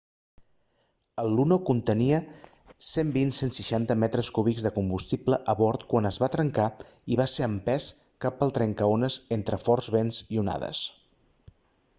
el luno contenia 120-160 metres cúbics de combustible a bord quan es va trencar i va ser empès cap al trencaones entre forts vents i onades